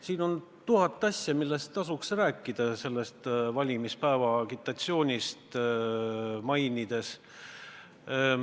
Siin on tuhat asja, millest valimispäeva agitatsiooniga seoses tasuks rääkida.